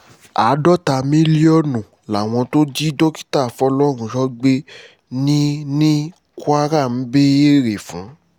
àádọ́ta mílíọ̀nù làwọn tó jí dókítà fọlọ́runṣọ gbé ní ní kwara ń béèrè fún